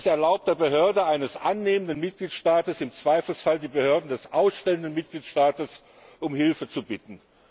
Es erlaubt der Behörde eines annehmenden Mitgliedstaats, im Zweifelsfall die Behörden des ausstellenden Mitgliedstaats um Hilfe zu bitten.